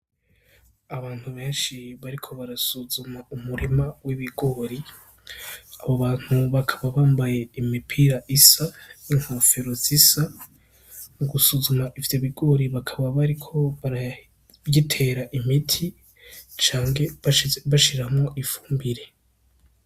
Abantu benshi bariko barasuzuma umurima w'ibigori, abo bantu bakaba bambaye imipira isa n'inkofero zisa, mu gusuzuma ivyo bigori bakaba bariko barabitera imiti canke bashiramwo ifumbire.